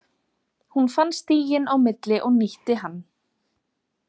Hún fann stíginn á milli og nýtti hann.